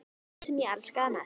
Hann sem ég elskaði mest.